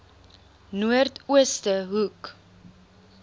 noord ooste hoek